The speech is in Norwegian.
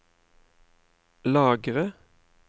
lagre